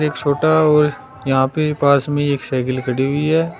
एक छोटा और यहां पे पास में एक साइकिल खड़ी हुई है।